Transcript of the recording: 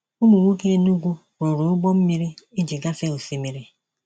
Ụmụ nwoke Enugwu rụrụ ụgbọ mmiri iji gafee osimiri.